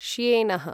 श्येनः